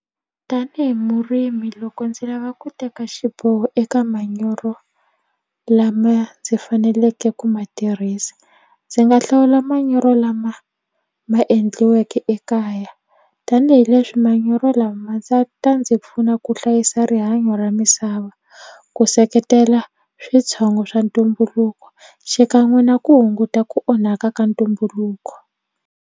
Tanihi murimi loko ndzi lava ku teka xiboho eka manyoro lama ndzi faneleke ku ma tirhisa ndzi nga hlawula manyoro lama ma endliweke ekaya tanihileswi manyoro lama ndza ta ndzi pfuna ku hlayisa rihanyo ra misava ku seketela switshongo swa ntumbuluko xikan'we na ku hunguta ku onhaka ka ntumbuluko.